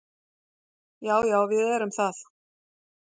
Já, já við erum það.